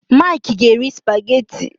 Mike ga eri spaghetti